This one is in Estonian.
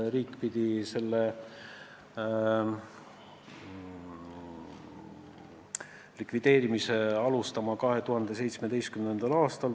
Riik pidi selle likvideerimist alustama 2017. aastal.